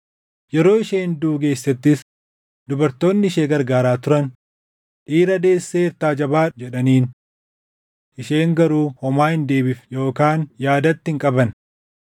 Yeroo isheen duʼuu geessettis dubartoonni ishee gargaaraa turan, “Dhiira deesseertaa jabaadhu” jedhaniin. Isheen garuu homaa hin deebifne yookaan yaadatti hin qabanne.